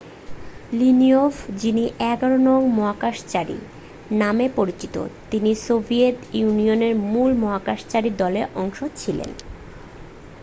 "Leonov যিনি "১১ নং মহাকাশচারী নামেও পরিচিত তিনি সোভিয়েত ইউনিয়নের মূল মহাকাশচারী দলের অংশ ছিলেন।